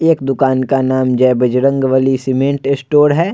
एक दुकान का नाम जय बजरंगबली सीमेंट स्टोर है।